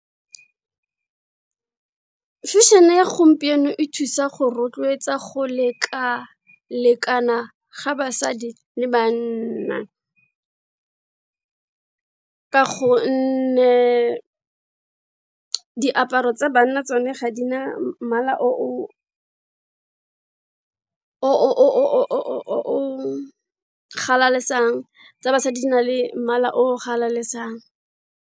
Fashion-e ya gompieno e thusa go rotloetsa go leka lekana ga basadi le banna, ka gonne diaparo tsa banna tsone ga di na mmala o galalesang tsa basadi di na le mmala o galalesang.